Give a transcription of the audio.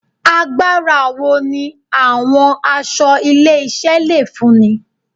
Agbára wo ni àwọn aṣọ ilé-iṣẹ́ le fúnni